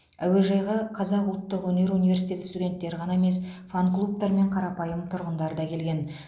әуежайға қазақ ұлттық өнер университеті студенттері ғана емес фанклубтар мен қарапайым тұрғындар да келген